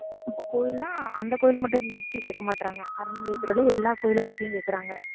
கோயில்னா அந்த கோயில்ல மட்டும் பத்தி கேட்க மாட்றாங்க அந்த இதிலுள்ள எல்லா கோயிலை பத்தியும் கேக்குறாங்க.